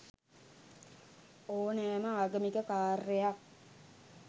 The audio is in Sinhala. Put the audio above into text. ඕනෑම ආගමික කාර්යයක්